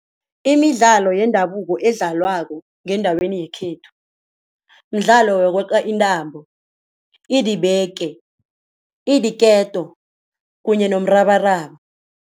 Imidlalo yendabuko edlalwako ngendaweni yekhethu, mdlalo yokweqa intambo, idibeke, idiketo kunye nomrabaraba.